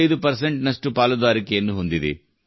85 ರಷ್ಟು ಪಾಲುದಾರಿಕೆಯನ್ನು ಹೊಂದಿದೆ